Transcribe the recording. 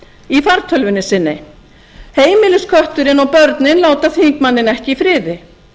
í fartölvunni sinni heimiliskötturinn og börnin láta þingmanninn ekki í friði